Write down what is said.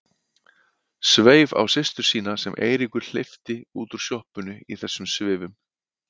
Sveif á systur sína sem Eiríkur hleypti út úr sjoppunni í þessum svifum.